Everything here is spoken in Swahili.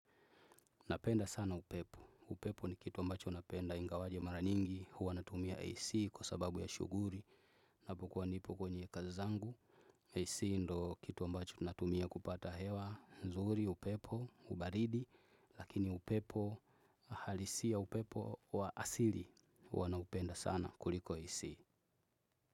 Napenda sana upepo, upepo ni kitu ambacho napenda ingawaje mara nyingi, huwa natumia AC kwa sababu ya shughuli, napokuwa nipo kwenye kazi zangu. AC ndo kitu ambacho natumia kupata hewa nzuri, upepo, ubaridi, lakini upepo, halisi ya upepo wa asili, huwa naupenda sana kuliko AC.